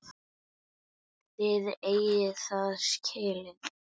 Þið eigið það skilið.